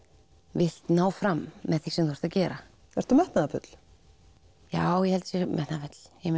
vilt ná fram með því sem þú ert að gera ertu metnaðarfull já ég held ég sé metnaðarfull ég